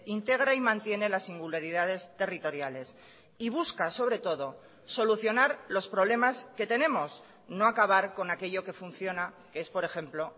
integra y mantiene las singularidades territoriales y busca sobre todo solucionar los problemas que tenemos no acabar con aquello que funciona que es por ejemplo